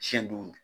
Siɲɛ duuru